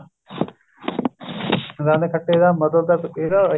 ਦੰਦ ਖੱਟੇ ਦਾ ਮਤਲਬ ਤਾ ਇਹਦਾ